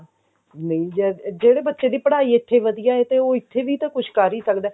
ਨਹੀ ਜਦ ਜਿਹੜੇ ਬੱਚੇ ਦੀ ਪੜ੍ਹਾਈ ਇੱਥੇ ਵਧੀਆ ਹੈ ਉਹ ਇੱਥੇ ਵੀ ਤਾਂ ਕੁਛ ਕਰ ਹੀ ਸਕਦਾ